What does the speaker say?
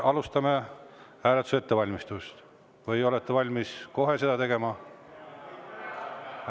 Alustame hääletuse ettevalmistust, või olete valmis kohe seda tegema?